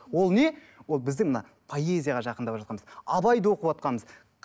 ол не ол біздің мына поэзияға жақындап жатқанымыз абайды оқыватқанымыз